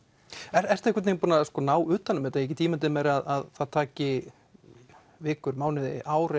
ertu einhvern veginn búinn að ná utan um þetta ég get ímyndað mér að það taki vikur mánuði ár